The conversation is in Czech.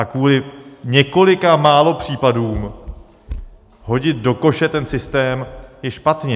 A kvůli několika málo případům hodit do koše ten systém je špatně.